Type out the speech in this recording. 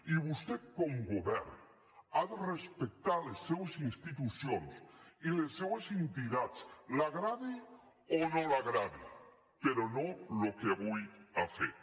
i vostè com a govern ha de respectar les seues institucions i les seus entitats li agradi o no li agradi però no el que avui ha fet